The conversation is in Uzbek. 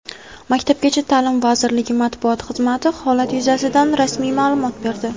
Maktabgacha ta’lim vazirligi Matbuot xizmati holat yuzasidan rasmiy ma’lumot berdi.